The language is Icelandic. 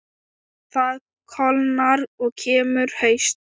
Það kólnar og kemur haust.